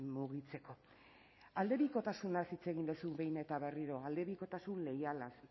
mugitzeko aldebikotasunaz hitz egin duzu behin eta berriro aldebikotasun leialaz